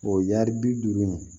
O ye yari bi duuru in ye